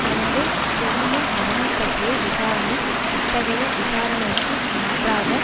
எனவே கெல்லியின் மரணம் பற்றிய விசாரணை அத்தகைய விசாரணைக்கு மாற்றாகப்